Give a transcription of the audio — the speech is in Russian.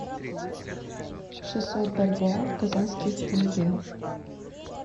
шестьсот бальбоа в казахских тенге